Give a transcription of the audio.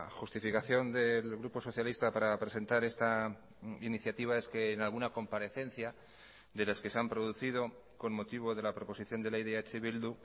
justificación del grupo socialista para presentar esta iniciativa es que en alguna comparecencia de las que se han producido con motivo de la proposición de ley de eh bildu